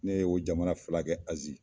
Ne ye o jamana fila kɛ Azi